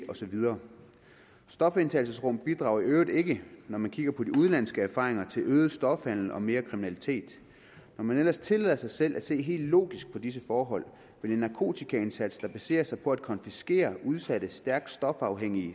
og så videre stofindtagelsesrum bidrager i øvrigt ikke når man kigger på de udenlandske erfaringer til øget stofhandel og mere kriminalitet når man ellers tillader sig selv at se helt logisk på disse forhold vil en narkotikaindsats der baserer sig på at konfiskere udsatte stærkt stofafhængige